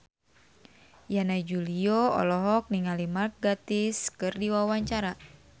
Yana Julio olohok ningali Mark Gatiss keur diwawancara